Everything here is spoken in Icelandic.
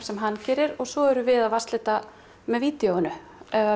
sem hann gerir og svo erum við að vatnslita með vídeóinu